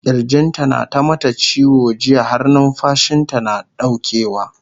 kirjin ta na ta mata ciwo jiya har numfashinta nata ɗaukewa